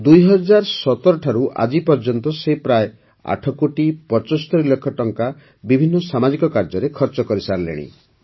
୨୦୧୭ ଠାରୁ ଆଜି ପର୍ଯ୍ୟନ୍ତ ସେ ପ୍ରାୟ ଆଠ କୋଟି ପଚସ୍ତରୀ ଲକ୍ଷ ଟଙ୍କା ସେ ବିଭିନ୍ନ ସାମାଜିକ କାର୍ଯ୍ୟରେ ଖର୍ଚ୍ଚ କରିସାରିଲେଣି